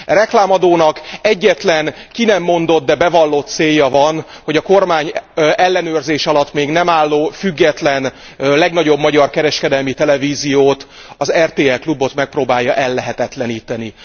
E reklámadónak egyetlen ki nem mondott, de bevallott célja van, hogy a kormány ellenőrzés alatt még nem álló, független, legnagyobb magyar kereskedelmi televíziót, az RTL Klubot megpróbálja ellehetetleníteni.